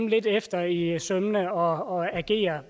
lidt efter i sømmene og og agere